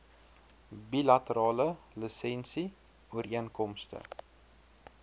bilaterale lisensie ooreenkomste